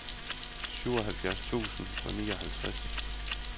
syvoghalvfjerds tusind og nioghalvtreds